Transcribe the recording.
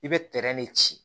I bɛ tɛrɛn de ci